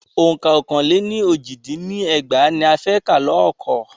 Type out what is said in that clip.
Ọ̀ǹka ọkàn le ní oji dín ní ẹgbàá ní a fẹ́ ká lọ́ọ̀kọ́.